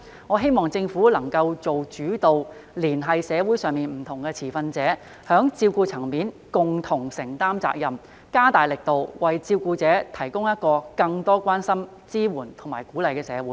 我希望政府能夠做主導，連繫社會上不同持份者，在照顧層面上共同承擔責任，加大力度，為照顧者提供一個有更多關心、支援和鼓勵的社會。